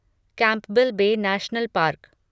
Campbell Bay National park